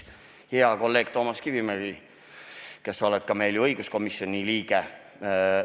Hea kolleeg Toomas Kivimägi, kes sa oled meil ju ka õiguskomisjoni liige!